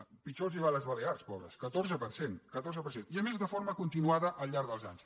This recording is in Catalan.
és clar pitjor els va a les balears pobres catorze per cent catorze per cent i a més de forma continuada al llarg dels anys